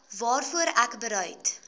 waarvoor ek bereid